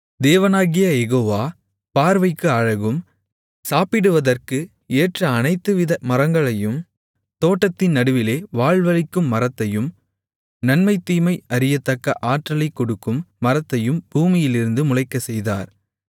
தேவனாகிய யெகோவா பார்வைக்கு அழகும் சாப்பிடுவதற்கு ஏற்ற அனைத்துவித மரங்களையும் தோட்டத்தின் நடுவிலே வாழ்வளிக்கும் மரத்தையும் நன்மை தீமை அறியத்தக்க ஆற்றலைக் கொடுக்கும் மரத்தையும் பூமியிலிருந்து முளைக்கச்செய்தார்